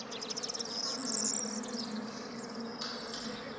wangaba nampendulo sekumcacela